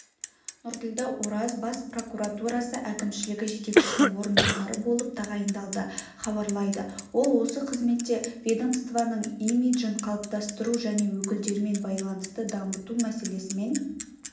нұрділдә ораз бас прокуратурасы әкімшілігі жетекшісінің орынбасары болып тағайындалды хабарлайды ол осы қызметте ведомствоның имиджін қалыптастыру және өкілдерімен байланысты дамыту мәселесімен